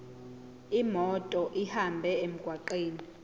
imoto ihambe emgwaqweni